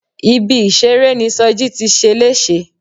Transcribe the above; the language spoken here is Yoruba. Ibi ìṣeré ni Soji ti ṣe léṣe.